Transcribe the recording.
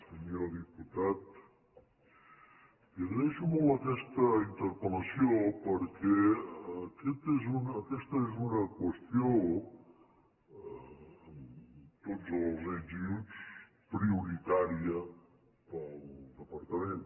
senyor diputat li agraeixo molt aquesta interpel·lació perquè aquesta és una qüestió amb tots els ets i uts prioritària per al departament